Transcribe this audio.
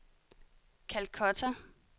Calcutta